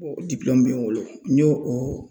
O be n bolo n y'o o